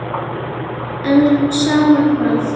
En sama hvað.